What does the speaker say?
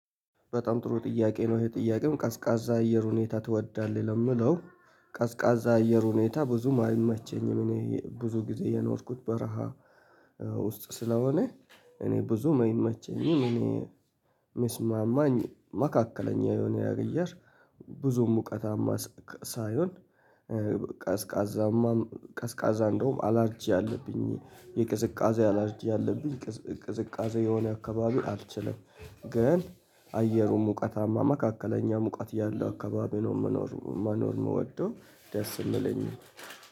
በጣም ጥሩ ጥያቄ ነው ይሄ ጥያቄም ቀዝቃዛ አየር ሁኔታ ትወዳለህ? ለምለው ቀዝቃዛ አየር ሁኔታ ብዙም አይመቸኝም እኔ ብዙ ጊዜ የኖርኩት በረሃ። ውስጥ ስለሆነ እኔ ብዙም አይመቸኝም እኔ ሚስማማኝ መካከለኛ የሆነ አየር። ብዙ ሙቀታማ ሳይሆን ቀዝቃዛማ ቀዝቃዛ እንደውም አላርጂ አለብኝ የቅዝቃዜ አላርጂ ያለብኝ ቅዝቃዜ የሆነ አካባቢ አልችልም። ግን አየሩ ሙቀታማ መካከለኛ ሙቀት ያለው አካባቢ ነው የምኖር መኖር የምወደው ደስ የምለኝ